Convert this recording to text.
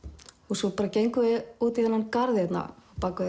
svo bara gengum við út í þennan garð hérna á bak við